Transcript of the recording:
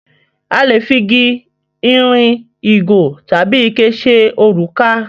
A lè fi gi, ìrìn, ìgò tabi ike ṣe òrùka.